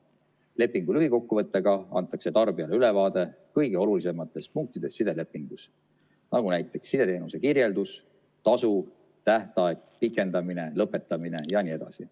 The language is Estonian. Lepingu lühikokkuvõttega antakse tarbijale ülevaade kõige olulisematest punktidest sidelepingus, nagu sideteenuse kirjeldus, tasu, tähtaeg, pikendamine, lõpetamine jne.